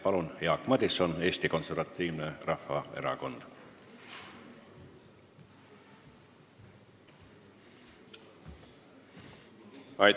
Palun, Jaak Madison Eesti Konservatiivsest Rahvaerakonnast!